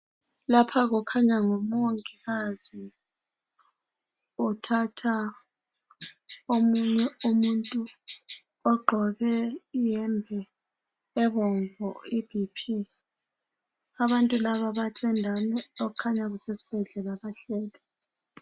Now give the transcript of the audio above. Lapha kukhanya ngumongikazi uthatha omunye umuntu ogqoke iyembe ebomvu iBP. Abantu laba laba basendaweni okukhanya kusesibhedlela